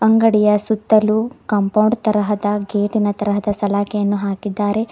ಅಂಗಡಿಯ ಸುತ್ತಲು ಕಾಂಪೌಂಡ್ ತರಹದ ಗೇಟಿನ ತರಹದ ಸಲಾಕೆಯನ್ನು ಹಾಕಿದ್ದಾರೆ.